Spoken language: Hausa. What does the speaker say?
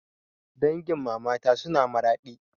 Dangin mamata suna Maradi